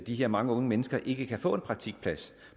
her mange unge mennesker ikke kan få en praktikplads